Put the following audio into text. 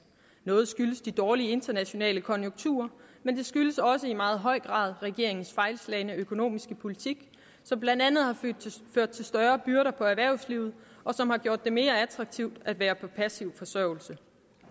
noget skyldes de dårlige internationale konjunkturer men det skyldes også i meget høj grad regeringens fejlslagne økonomiske politik som blandt andet har ført til større byrder på erhvervslivet og som har gjort det mere attraktivt at være på passiv forsørgelse